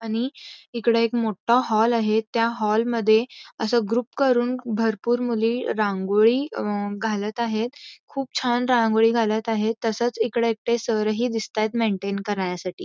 आणि इकडे एक मोठा हॉल आहे त्या हॉल मध्ये असं ग्रुप करून भरपूर मुली रांगोळी घालत आहेत खूप छान रांगोळी घालत आहेत तसेच इकडे एक सर हि दिसतायत मेंटेन करण्यासाठी.